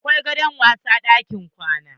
Akwai gado a wasg ɗakin kwana.